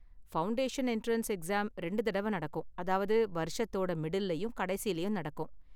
Foundation entrance exam ரெண்டு தடவ நடக்கும் அதாவது வருஷத்தோட மிடில்லயும், கடைசிலயும் நடக்கும்.